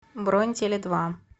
бронь теледва